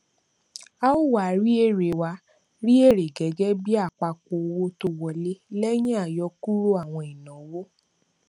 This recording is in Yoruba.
a ó wá rí èrè wá rí èrè gẹgẹbí àpapọ owó tó wọlé lẹyìn àyọkúrò àwọn ìnáwó